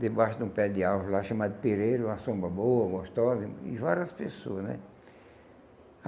debaixo de um pé de árvore lá, chamado Pereiro, uma sombra boa, gostosa, e e várias pessoas né.